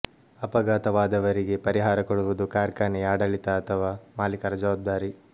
ಅಪಘಾತವಾದವರಿಗೆ ಪರಿಹಾರ ಕೊಡುವುದು ಕಾರ್ಖಾನೆಯ ಆಡಳಿತ ಅಥವಾ ಮಾಲಿಕರ ಜವಾಬ್ದಾರಿ